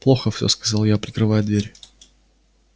плохо всё сказал я прикрывая дверь